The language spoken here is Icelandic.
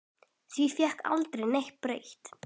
Því fékk aldrei neitt breytt.